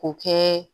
K'o kɛ